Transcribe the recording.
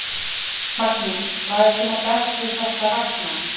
Magnús: Hvað er svona best við þessa vagna?